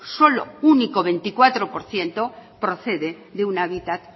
solo el veinticuatro por ciento procede de un hábitat